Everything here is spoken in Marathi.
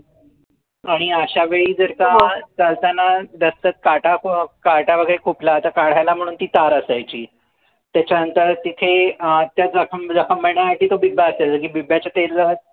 आणि अश्या वेळी जर चालतांना रस्त्यात काटा काटा वगैरे खुपलं तर काढायला म्हणून ती तार असायची त्याच्या नंतर तिथे अं त्या जखम जखम बांधायसाठी तो बिब्बा असायचा जे बिब्ब्याच्या तेलात